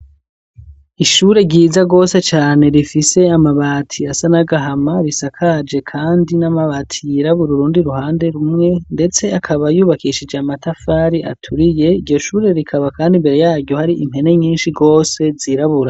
Ishure ryiza rwose cane rifise amabati asa nagahama risakaje, kandi n'amabati yirabura urundi ruhande rumwe, ndetse akabayubakishije amatafari aturiye iryo shure rikaba, kandi imbere yaryo hari impene nyinshi rwose zirabura.